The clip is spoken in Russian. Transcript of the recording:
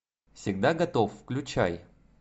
всегда готов включай